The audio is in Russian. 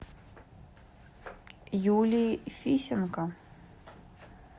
юлии фисенко